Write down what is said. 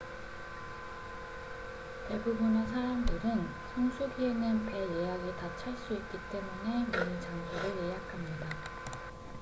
대부분의 사람들은 성수기에는 배 예약이 다 찰 수 있기 때문에 미리 장소를 예약합니다